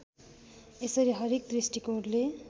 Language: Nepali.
यसरी हरेक दृष्टिकोणले